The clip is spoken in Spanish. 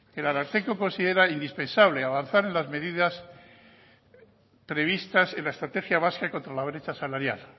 el ararteko considera indispensable avanzar en las medidas previstas en la estrategia vasca contra la brecha salarial